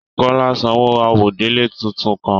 Kọla sanwó àwọ̀délẹ̀ tuntun kàn.